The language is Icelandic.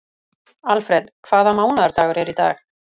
Alfred, hvaða mánaðardagur er í dag?